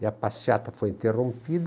E a passeata foi interrompida.